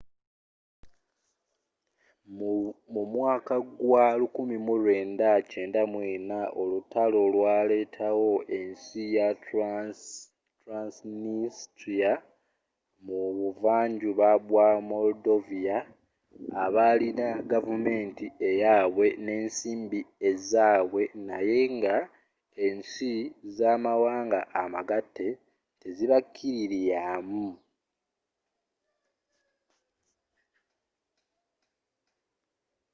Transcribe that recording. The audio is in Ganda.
mu mwaka gwa 1994 olutalo lwalettawo ensi ya transnistria mu buvva njuba bwa moldovia abalina gavumenti eyabwe n'ensimbi ezzabwe naye nga ensi z'amawanga amagatte tezibakililiamu